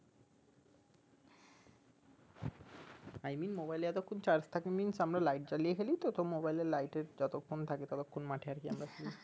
i mean mobile এ যতখন charge থাকে mines আমরা light জ্বালিয়ে খেলিতো তো mobile এর light এ যতখন থাকে ততখন মাঠে আর কি আমরা